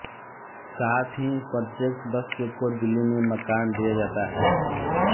साथ ही प्रत्येक सदस्य को दिल्ली में मकान दिया जाता है